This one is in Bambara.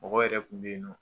Mɔgɔ yɛrɛ kun bɛ ye nɔ